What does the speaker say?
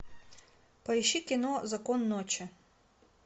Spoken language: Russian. поищи кино закон ночи